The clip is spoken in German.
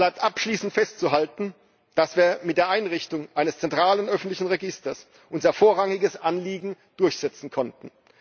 Aber es bleibt abschließend festzuhalten, dass wir mit der Einrichtung eines zentralen öffentlichen Registers unser vorrangiges Anliegen durchsetzen konnten.